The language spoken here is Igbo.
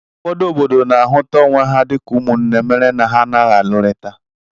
Ụfọdụ obodo na-ahụta onwe ha dịka ụmụnne mere na ha anaghị alụrịta